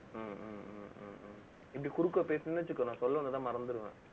ஹம் ஹம் ஹம் ஹம் இப்படி, குறுக்க பேசுனீங்கன்னு வச்சுக்கோ நான் சொல்ல வந்ததை, மறந்திருவேன்